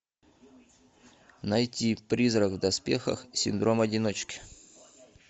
найти призрак в доспехах синдром одиночки